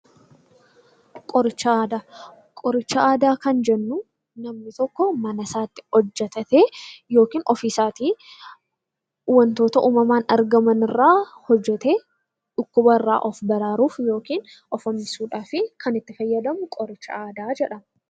Qoricha aadaa kan jennu namni tokko mana isaatti hojjatatee yookiin ofii isaatii wantoota naannoo irraa hojjatee dhukkubarraa of baraaruuf yookiin of hambisuudhaaf fayyadamu qoricha aadaa jedhama.